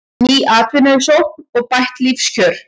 Ný atvinnusókn og bætt lífskjör